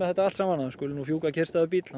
þetta alltsaman að hér skuli fjúka kyrrstæður bíll